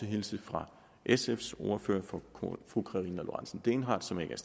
hilse fra sfs ordfører fru karina lorentzen dehnhardt som ikke er